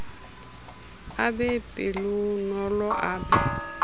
a be pelonolo a be